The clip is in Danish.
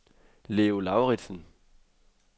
Leo Lauridsen